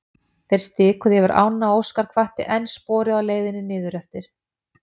Þeir stikuðu yfir ána og Óskar hvatti enn sporið á leiðinni niður eftir.